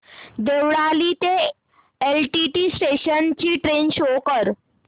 देवळाली ते LTT station ची train show कर